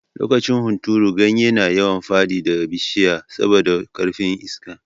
Lokacin hunturu, ganye na yawan fadi da bishiya sabi da karfin Iska.